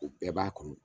O bɛɛ b'a kɔnɔ